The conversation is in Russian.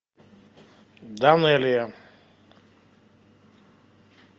данелия